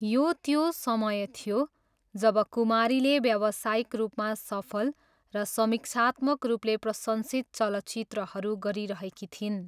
यो त्यो समय थियो जब कुमारीले व्यवसायिक रूपमा सफल र समीक्षात्मक रूपले प्रशंसित चलचित्रहरू गरिरहेकी थिइन्।